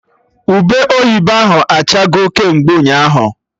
Ube oyibo ahụ achago kemgbe ụnyaahụ